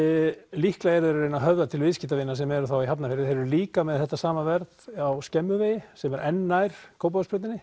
líklega eru þeir að reyna að höfða til viðskiptavina sem eru þá í Hafnarfirði en þeir eru líka með þetta sama verð á Skemmuvegi sem er enn nær Kópavogsbrautinni